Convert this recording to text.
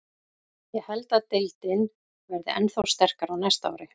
Ég held að deildin verði ennþá sterkari á næsta ári.